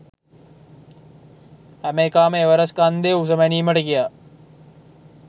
හැම එකාම එවරස්ට් කන්දේ උස මැනීමට ගියා